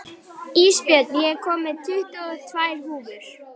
Ísbjörn, ég kom með tuttugu og tvær húfur!